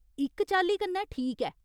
इक चाल्ली कन्नै ठीक ऐ ।